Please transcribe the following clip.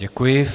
Děkuji.